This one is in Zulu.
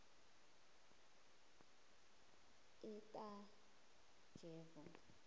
otajevo